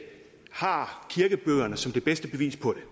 har kirkebøgerne som det bedste bevis på det